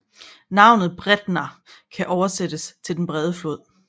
Navnet Breiðá kan oversættes til den brede flod